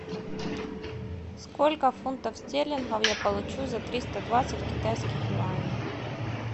сколько фунтов стерлингов я получу за триста двадцать китайских юаней